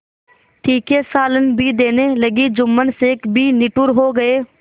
तीखे सालन भी देने लगी जुम्मन शेख भी निठुर हो गये